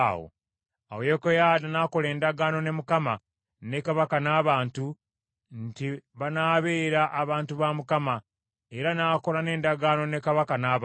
Awo Yekoyaada n’akola endagaano ne Mukama , ne kabaka n’abantu, nti banaabeera abantu ba Mukama , era n’akola n’endagaano ne kabaka n’abantu.